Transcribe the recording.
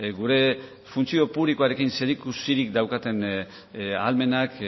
gure funtzio publikorekin zeri ikusirik daukaten ahalmenak